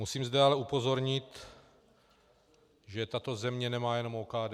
Musím zde ale upozornit, že tato země nemá jenom OKD.